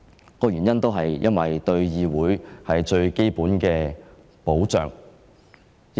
究其原因，就是向議會提供最基本的保障。